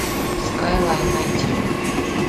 скайлайн найти